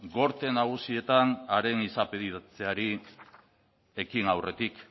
gorte nagusietan haren izapidetzeari ekin aurretik